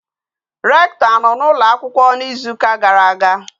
Rector a no na ụlọ akwụkwọ na Izu uka gara aga?